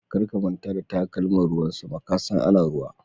Kar ka manta da takalman ruwan sama, ka san ana ruwa.